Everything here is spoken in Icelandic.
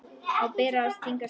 Á bara að stinga af.